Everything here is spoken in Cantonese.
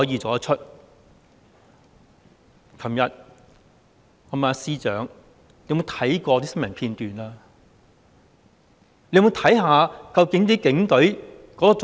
昨天，我問司長有否看過新聞片段，有否看看究竟警隊的做法。